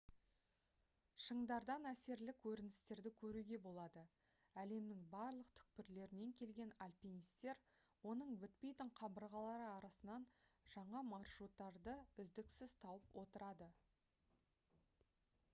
шыңдардан әсерлі көріністерді көруге болады әлемнің барлық түкпірлерінен келген альпинисттер оның бітпейтін қабырғалары арасынан жаңа маршруттарды үздіксіз тауып отырады